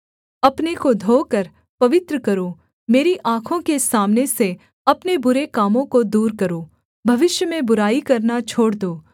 अपने को धोकर पवित्र करो मेरी आँखों के सामने से अपने बुरे कामों को दूर करो भविष्य में बुराई करना छोड़ दो